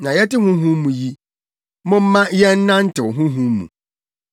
Sɛ yɛte Honhom mu yi, momma yɛnnantew Honhom mu.